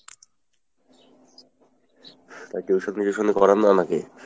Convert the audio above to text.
তো tuition ফিউশন করান না নাকি?